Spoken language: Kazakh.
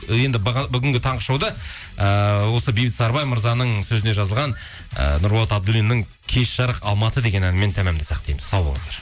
енді бүгінгі таңғы шоуды ыыы осы бейбіт сарыбай мырзаның сөзіне жазылған ііі нұрболат абдуллиннің кеш жарық алматы деген әнімен тәмамдасақ дейміз сау болыңыздар